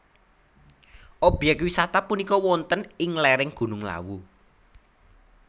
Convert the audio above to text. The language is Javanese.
Obyek wisata punika wonten ing lereng Gunung Lawu